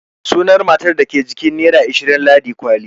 Sunan matar da ke jikin nera ashirin Ladi kwali.